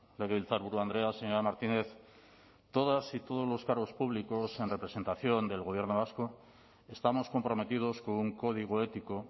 legebiltzarburu andrea señora martínez todas y todos los cargos públicos en representación del gobierno vasco estamos comprometidos con un código ético